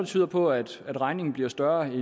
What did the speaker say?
tyder på at regningen bliver større end det